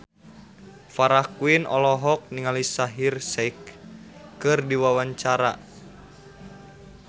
Farah Quinn olohok ningali Shaheer Sheikh keur diwawancara